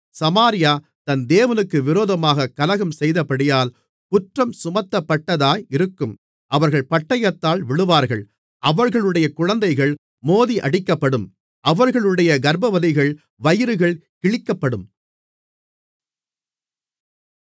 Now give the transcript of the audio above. சமாரியா தன் தேவனுக்கு விரோதமாகக் கலகம்செய்தபடியால் குற்றம் சுமத்தப்பட்டதாயிருக்கும் அவர்கள் பட்டயத்தால் விழுவார்கள் அவர்களுடைய குழந்தைகள் மோதியடிக்கப்படும் அவர்களுடைய கர்ப்பவதிகளின் வயிறுகள் கிழிக்கப்படும்